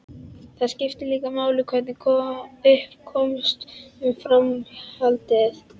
Það skiptir líka máli hvernig upp komst um framhjáhaldið.